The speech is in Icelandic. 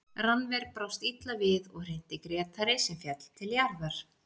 Rannver brást illa við og hrinti Grétari sem féll til jarðar.